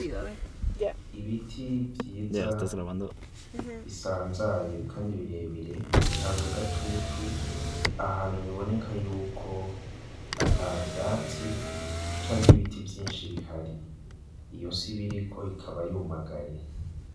ibiti vyiza bisanzaye kandi birebire bitanga gatutu ahantu biboneka y'uko ata vyatsi canke ibiti vyinshi bihari iyo si biriko ikaba yumagaye.